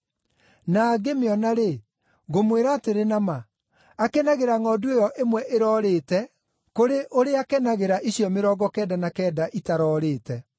Na angĩmĩona-rĩ, ngũmwĩra atĩrĩ na ma, akenagĩra ngʼondu ĩyo ĩmwe ĩrorĩte kũrĩ ũrĩa akenagĩra icio mĩrongo kenda na kenda itaroorĩte.